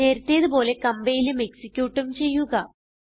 നേരത്തേതു പോലെ കംപൈലും എക്സിക്യൂട്ടും ചെയ്യുക